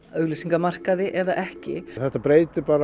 auglýsingamarkaði eða ekki þetta breytir